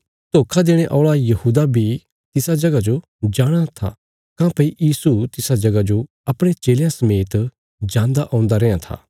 धोखा देणे औल़ा यहूदा बी तिसा जगह जो जाणाँ था काँह्भई यीशु तिसा जगह जो अपणे चेलयां समेत जान्दा औन्दा रैयां था